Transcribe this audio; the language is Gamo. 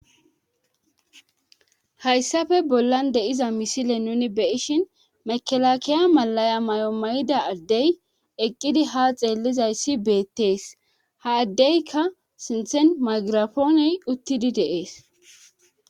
hayssafe bollan deiza misile nuni beyishin mekelakiya malaya may7o may7ida addey eqqidi ha xeellizayssi beettees ha addeykka sinthen magirafooney uttidi deees